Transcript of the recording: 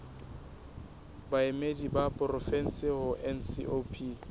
baemedi ba porofensi ho ncop